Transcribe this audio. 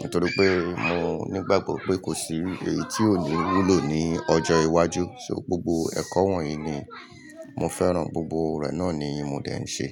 Nítorí pé mo nígbàgbọ́ pé kò sí èyí tí ò ní wúlò ní ọjọ́ iwájú. So gbogbo ẹ̀kọ́ wọ̀nyí ni mo fẹ́ràn, gbogbo rẹ̀ náà ni mo dẹ̀ ń ṣe.